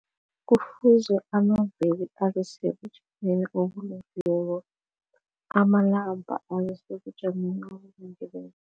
Kufuze amaveni abesebujameni obulungileko amanamba abesebujameni obulungileko.